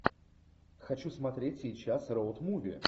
хочу смотреть сейчас роуд муви